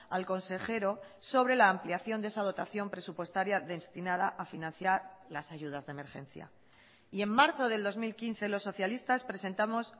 al consejero sobre la ampliación de esa dotación presupuestaria destinada a financiar las ayudas de emergencia y en marzo del dos mil quince los socialistas presentamos